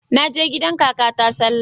Naje gidan kakata sallah